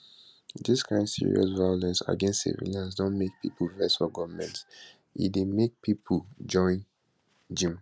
dis kain serious violence against civilians don make pipo vex for goment and e dey make more pipo join jnim